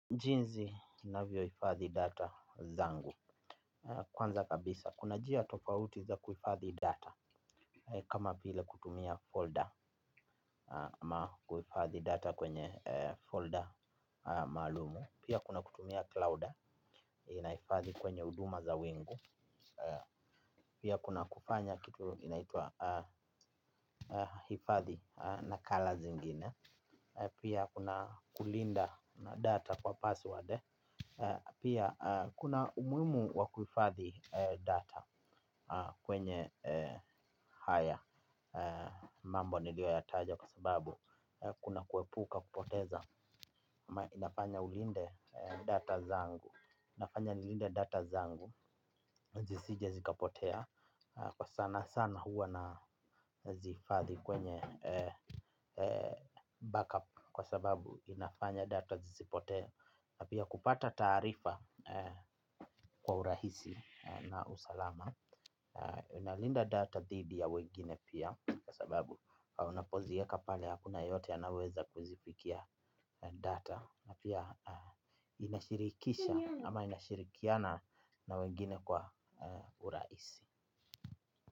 Jinzi na vioifadhi data zangu. Kwanza kabisa, kuna jia tofauti za kuifadhi data. Kama vile kutumia folder aMa kuifadhi data kwenye folder malumu. Pia kuna kutumia cloud na ifadhi kwenye uduma za wingu. Pia kuna kufanya kitu inaitua ifadhi na colors ingine. Pia kuna kulinda data kwa password. Pia kuna umuimu wakuifathi data kwenye haya mambo nilioyataja kwa sababu kuna kuepuka kupoteza. Inafanya ulinde data zangu, inafanya nilinde data zangu, zisije zikapotea. Kwa sana sana huwa nazifathi kwenye backup kwa sababu inafanya data zisipotea na pia kupata tarifa kwa urahisi na usalama nalinda data dhidi ya wengine pia kwa sababu unapozieka pale hakuna yeyote anayeweza kuzifikia data na pia inashirikisha ama inashirikiana na wengine kwa urahisi.